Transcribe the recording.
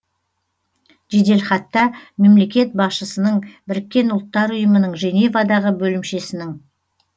жеделхатта мемлекет басшысының біріккен ұлттар ұйымының женевадағы бөлімшесінің